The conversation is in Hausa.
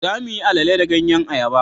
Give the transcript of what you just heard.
za mu yi alele da ganyen ayaba